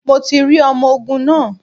Mi ò tí rí ọmọ ogun náà.